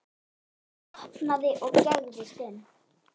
Ég opnaði og gægðist inn.